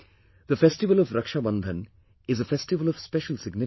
The festival of Raksha Bandhan is a festival of special significance